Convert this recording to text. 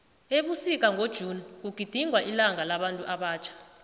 ebusika ngo june kugidingwa ilanga labantu abatjha